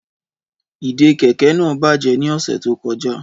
Ìdè kẹ̀kẹ́ naa bajẹ ni ọsẹ to kọja.